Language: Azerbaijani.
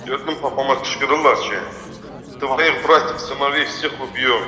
Gördüm papama qışqırırlar ki, "tvoyix bratikov i snovix vsekh ub'yom".